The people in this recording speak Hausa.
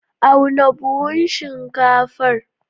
Auna buhun shinkafar.